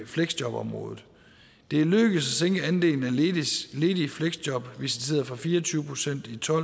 fleksjobområdet det er lykkedes at sænke andelen af ledige visiteret fra fire og tyve procent i to